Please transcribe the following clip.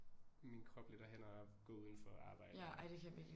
Min krop lidt og hænder og gå udenfor og arbejde og